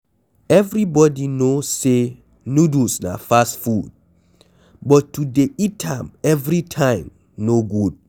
Everybody know, say noodles na fast food but to dey eat am every time no good